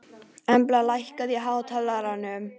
Embla, lækkaðu í hátalaranum.